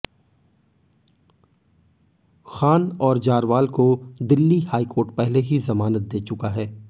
खान और जारवाल को दिल्ली हाईकोर्ट पहले ही जमानत दे चुका है